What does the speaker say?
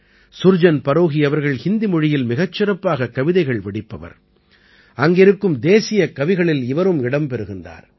சுர்ஜன் பரோஹீ அவர்கள் ஹிந்தி மொழியில் மிகச் சிறப்பாகக் கவிதைகள் வடிப்பவர் அங்கிருக்கும் தேசியக் கவிகளில் இவரும் இடம் பெறுகிறார்